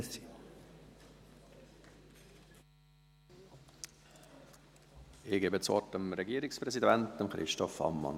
Ich gebe das Wort dem Regierungspräsidenten, Christoph Ammann.